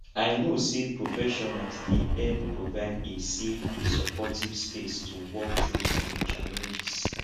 i know say professionals dey help provide a safe and supportive space to work through um challenges